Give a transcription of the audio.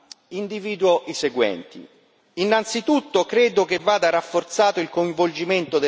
Innanzitutto credo che vada rafforzato il coinvolgimento delle banche di sviluppo nazionali.